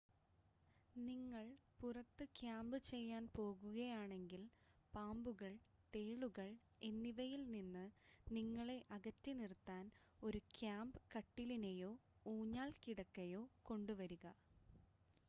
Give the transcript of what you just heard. നിങ്ങൾ പുറത്ത് ക്യാമ്പ് ചെയ്യാൻ പോകുകയാണെങ്കിൽ പാമ്പുകൾ തേളുകൾ എന്നിവയിൽ നിന്ന് നിങ്ങളെ അകറ്റി നിർത്താൻ ഒരു ക്യാമ്പ് കട്ടിലിനെയോ ഊഞ്ഞാൽ കിടക്കയോ കൊണ്ടുവരിക